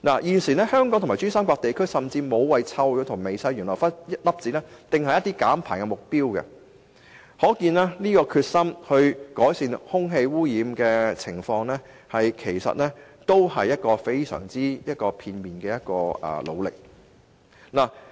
現時，香港和珠三角地區均沒有就臭氧和微細懸浮粒子訂下減排目標，可見他們改善空氣污染的決心其實是非常片面的。